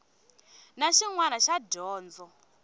na xin wana xa dyondzo